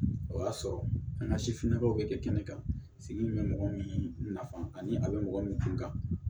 O y'a sɔrɔ an ka sifinnakaw bɛ kɛ kɛnɛ kan sigi in bɛ mɔgɔ min nafa ani a bɛ mɔgɔ min kun kan